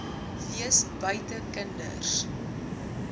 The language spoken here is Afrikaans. wees buite kinders